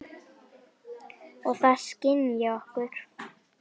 Og það skynji okkur.